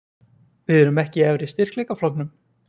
Við erum ekki í efri styrkleikaflokknum?